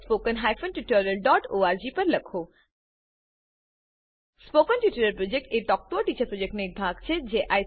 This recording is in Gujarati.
spoken tutorial project talk to a teacher પ્રોજેક્ટનો એક ભાગ છે